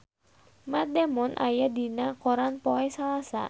Matt Damon aya dina koran poe Salasa